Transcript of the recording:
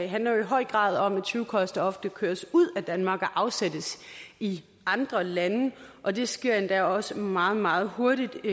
handler jo i høj grad om at tyvekoster ofte køres ud af danmark og afsættes i andre lande og det sker endda også meget meget hurtigt